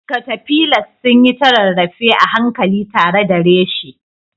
Caterpillars sun yi ta rarrafe a hankali tare da reshe